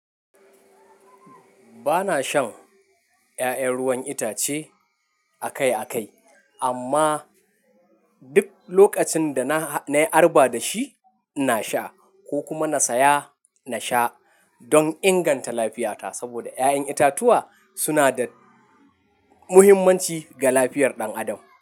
Ba na shan ƴaƴan ruwan itace akai akai amma duk lokacin da na, na yi arba da shi, ina sha ko kuma na saya na sha don inganta lafiyata. Saboda 'ya'yan itatuwa suna da muhimmanci ga lafiyar ɗan adam.